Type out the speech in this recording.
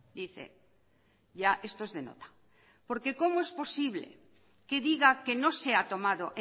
dice ya esto es de nota cómo es posible que diga que no se ha tomado